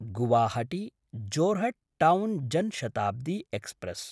Guwahati-Jorhat town Jan Shatabdi express